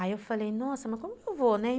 Aí eu falei, nossa, mas como eu vou, né?